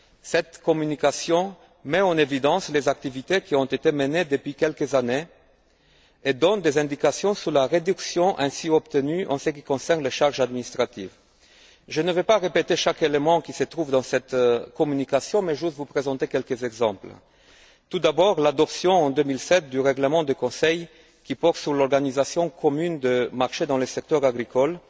Cette communication met en évidence les activités qui ont été menées depuis quelques années et donne des indications sur la réduction ainsi obtenue au niveau des charges administratives. Je ne veux pas répéter chaque élément qui se trouve dans cette communication, mais je souhaite vous présenter quelques exemples. Tout d'abord, l'adoption, en 2007, du règlement du Conseil qui porte sur l'organisation commune des marchés dans le secteur agricole